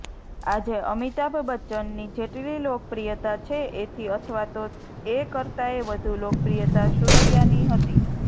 આજે અમિતાભ બચ્ચનની જેટલી લોકપ્રિયતા છે એથી અથવા તો એ કરતાંયે વધુ લોકપ્રિયતા સુરૈયાની હતી